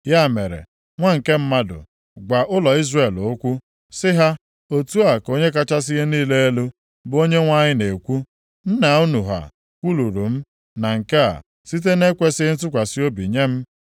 “Ya mere, nwa nke mmadụ, gwa ụlọ Izrel okwu, sị ha, ‘Otu a ka Onye kachasị ihe niile elu, bụ Onyenwe anyị na-ekwu, Nna unu ha kwuluru m na nke a, site na-ekwesighị ntụkwasị obi nye m.